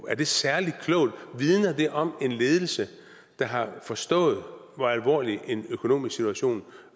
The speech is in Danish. er det særlig klogt vidner det om en ledelse der har forstået hvor alvorlig en økonomisk situation